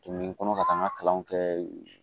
Tomi kɔnɔ ka taa n ka kalanw kɛ yen